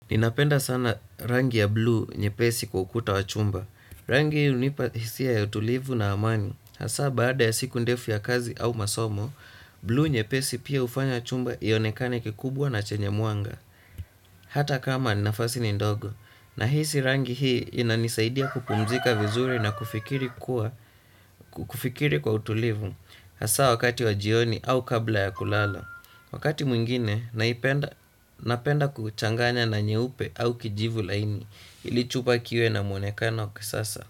Ninapenda sana rangi ya bluu nyepesi kwa ukuta wa chumba. Rangi hii unipa hisia ya utulivu na amani. Hasaa baada ya siku ndefu ya kazi au masomo, bluu nyepesi pia hufanya chumba ionekane kikubwa na chenye mwanga. Hata kama nafasi ni ndogo. Nahisi rangi hii inanisaidia kupumzika vizuri na kufikiri kuwa kufikiri kwa utulivu. Hasa wakati wa jioni au kabla ya kulala. Wakati mwingine, naipenda napenda kuchanganya na nyeupe au kijivu laini ili chumba kiwe na mwonekano wa kisasa.